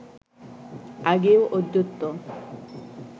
আগেও অদ্বৈত